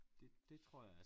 Det det tror jeg er